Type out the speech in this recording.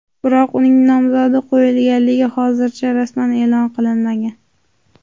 Biroq uning nomzodi qo‘yilganligi hozircha rasman e’lon qilinmagan.